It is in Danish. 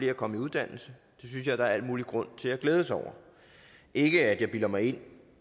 er kommet i uddannelse det synes jeg der er al mulig grund til at glæde sig over ikke at jeg bilder mig ind